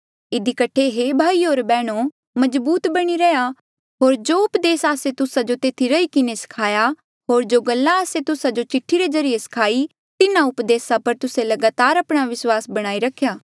इधी कठे हे भाईयो होर बैहणो मजबूत बणी रैहया होर जो उपदेस आस्से तुस्सा जो तेथी रही किन्हें सखाया होर जो गल्ला आस्से तुस्सा जो चिठ्ठी रे ज्रीए सखाई तिन्हा उपदेसा पर तुस्से लगातार आपणा विस्वास बणाई रखा